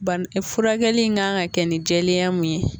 Bana furakɛli in kan ka kɛ ni jɛlenya mun ye